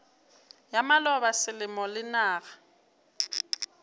ya maloba selemo le naga